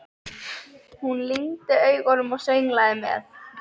Hún lygndi augunum og sönglaði með.